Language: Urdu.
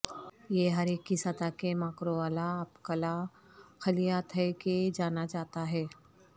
یہ ہر ایک کی سطح کے ماکرووالا اپکلا خلیات ہے کہ جانا جاتا ہے